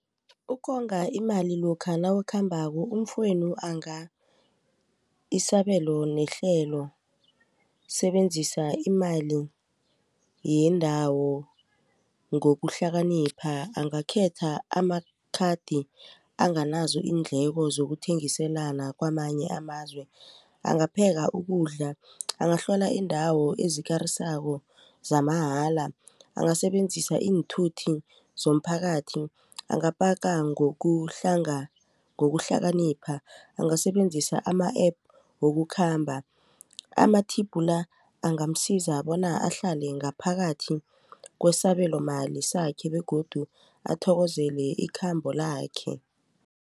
Ukonga imali lokha nawukhambako umfowenu isabelo nehlelo sebenzisa imali yendawo ngokuhlakanipha angakhetha amakhathi anganazo iindleko zokuthengisana kwamanye amazwe. Angapheka ukudla angahlola iindawo ezikarisako zamahala. Angasebenzisa iinthuthi zomphakathi angapaka ngokuhlakanipha angasebenzisa ama-App wokukhamba. Ama-tip la angamsiza bona ahlale ngaphakathi kwesabelo mali sakhe begodu athokozele ikhambo lakhe.